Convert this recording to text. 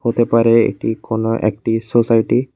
হতে পারে এটি কোনো একটি সোসাইটি